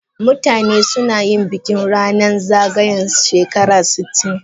Mutane suna yin bikin ranan zagayan shekara sitin.